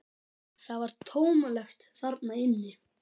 Það var tómlegt þarna inni.